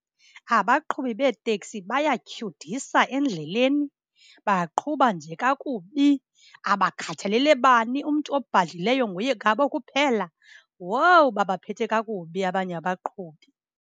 Abaqhubi beetekisi bayatyhudisa endleleni, baqhuba nje kakubi. Abakhathalele bani, umntu obhadlileyo nguye ngabo kuphela. Wowu, babaphethe kakubi abanye abaqhubi!